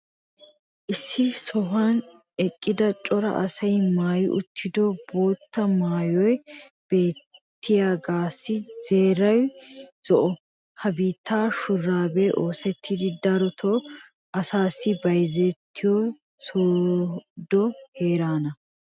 issi sohuwan eqida cora asay maayi uttido bootta maayoy beettiyaagassi xeeray zo"o. ha biitta shuraabee oosettidi darotoo asaassi bayzzetiyoy soodo heeraana.